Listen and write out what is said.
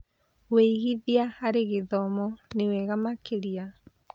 ũigithia harĩ gĩthomo nĩ wega makĩria.